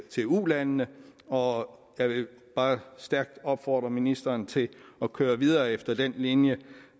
til ulandene og jeg vil bare stærkt opfordre ministeren til at køre videre efter den linje